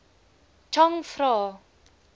chang vra